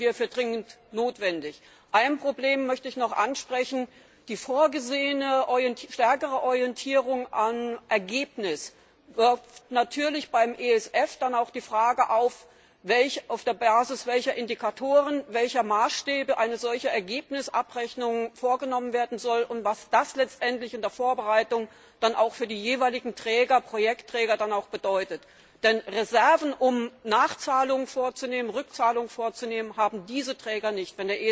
Das halten wir für dringend notwendig. Ein Problem möchte ich noch ansprechen Die vorgesehene stärkere Orientierung am Ergebnis wirft natürlich auch beim ESF die Frage auf, auf der Basis welcher Indikatoren, welcher Maßstäbe eine solche Ergebnisabrechnung vorgenommen werden soll, und was das letztendlich in der Vorbereitung dann auch für die jeweiligen Projektträger bedeutet. Denn Reserven, um Nachzahlungen vorzunehmen, Rückzahlungen vorzunehmen, haben diese Träger nicht.